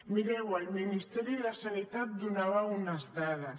mireu el ministeri de sanitat donava unes dades